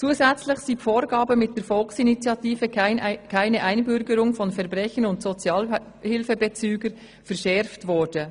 Zudem sind die Vorgaben mit der Volksinitiative «Keine Einbürgerung von Verbrechern und Sozialhilfebezügern» verschärft worden.